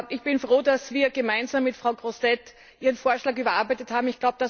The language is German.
Ich bin froh, dass wir gemeinsam mit Frau Grossetête ihren Vorschlag überarbeitet haben.